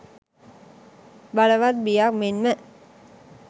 බලවත් බියක් මෙන්ම